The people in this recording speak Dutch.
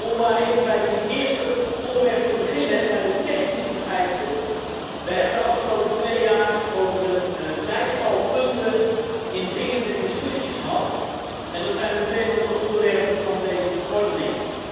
Om maar even bij het eerste onderwerp te beginnen, de technische vereisten we hebben de afgelopen twee jaar over een vijftal punten indringende discussies gehad, en dat zijn meteen ook de onderwerpen van deze verordening.